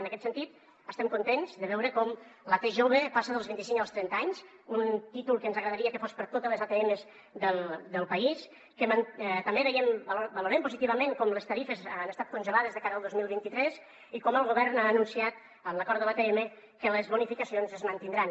en aquest sentit estem contents de veure com la t jove passa dels vint i cinc als trenta anys un títol que ens agradaria que fos per a totes les atms del país que també valorem positivament com les tarifes han estat congelades de cara al dos mil vint tres i com el govern ha anunciat en l’acord de l’atm que les bonificacions es mantindran